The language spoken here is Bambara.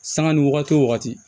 Sanga ni wagati o wagati